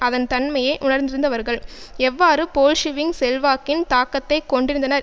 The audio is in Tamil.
அதன் தன்மையை உணர்ந்திருந்தவர்கள் எவ்வாறு போல்ஷிவிக் செல்வாக்கின் தாக்கத்தை கொண்டிருந்தனர்